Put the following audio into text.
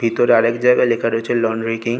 ভিতরে আরেক জায়গায় লেখা রয়েছে লন্ড্রি কিং--